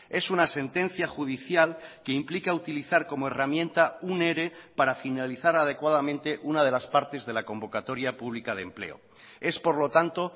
es una sentencia judicial que implica utilizar como herramienta un ere para finalizar adecuadamente una de las partes de la convocatoria pública de empleo es por lo tanto